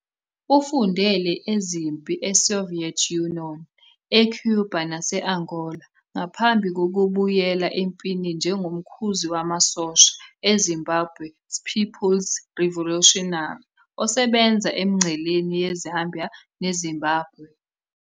Ufundele ezempi eSoviet Union, eCuba nase-Angola ngaphambi kokubuyela empini njengomkhuzi wamasosha eZimbabwe People's Revolutionary, ZIPRA, osebenza emingceleni yeZambia neZimbabwe.